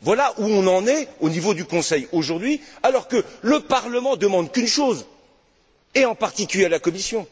Voilà où on en est au niveau du Conseil aujourd'hui alors que le Parlement ne demande qu'une chose, et en particulier à la Commission,